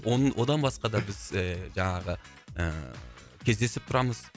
одан басқа да біз і жаңағы ііі кездесіп тұрамыз